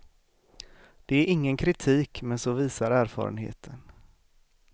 Det är ingen kritik men så visar erfarenheten.